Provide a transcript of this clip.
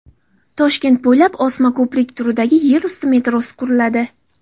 Toshkent bo‘ylab osma ko‘prik turidagi yer usti metrosi quriladi.